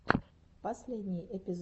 последний эпизод ай кедит